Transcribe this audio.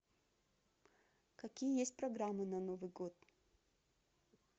какие есть программы на новый год